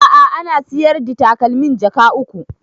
A'a ana sayar the takalmin jaka uku